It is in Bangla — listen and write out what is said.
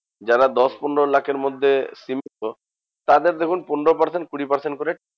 যারা দশ পনেরো লাখের মধ্যে সীমিত, তাদের দেখুন পনেরো percent কুড়ি percent করে